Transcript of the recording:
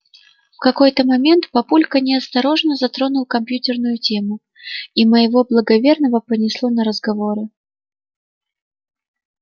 в какой-то момент папулька неосторожно затронул компьютерную тему и моего благоверного понесло на разговоры